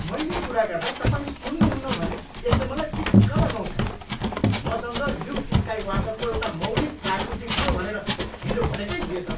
मैले कुरा गर्दा तपाईँ सुन्नुहुन्न भने यसले मलाई दिक्क लगाउँछ। मसँग ल्युक स्काइवाल्करको एउटा मौलिक आकृति थियो भनेर हिजो भनेकै थिएँ त।